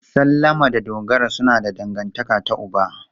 Salama da Dogara suna da dangantaka ta uba.